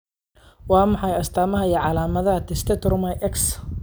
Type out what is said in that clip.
Waa maxay astaamaha iyo calaamadaha Tetrasomy X?